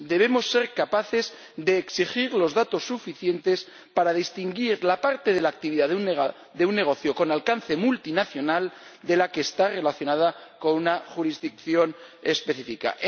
Debemos ser capaces de exigir los datos suficientes para distinguir la parte de la actividad de un negocio con alcance multinacional de la que está relacionada con una jurisdicción específica.